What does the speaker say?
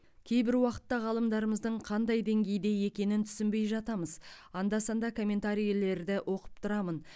кейбір уақытта ғалымдарымыздың қандай деңгейде екенін түсінбей жатамыз анда санда комментарийлерді оқып тұрамын